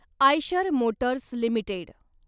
Eicher Motors limited